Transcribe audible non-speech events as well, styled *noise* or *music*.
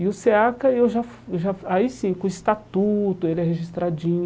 E o SEACA, eu já *unintelligible* já aí sim, com o estatuto, ele é registradinho.